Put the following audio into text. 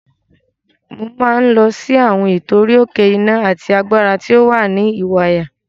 Mo máa ń lọ fún àwọn ètò orí-òkè iná àti agbára tí ó wà ní Ìwàyà.